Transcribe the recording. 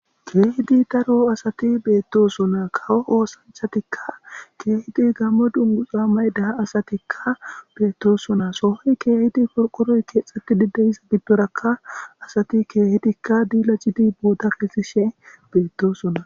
Keehidi daro asati beettosona kawo oosanchatikka keehidi gammo dunguxa may daha asatikka beettosona sohoy keehidi porqoroy keexeti dideyissa biddorakka asati keehidikka diila jidi booda keesishe beettosona.